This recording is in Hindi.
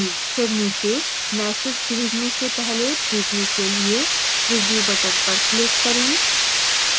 फिर नीचे message भेजने से पहले प्रिव्यू के लिए preview button पर click करें